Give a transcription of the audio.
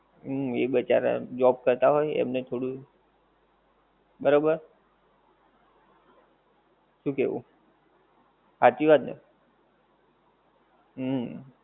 હમ એ બિચારા job કરતા હોએ એમને થોડું બરોબર શું કેવું હાચી વાત ને હમ